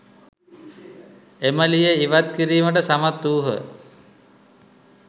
එම ලීය ඉවත් කිරීමට සමත් වූහ.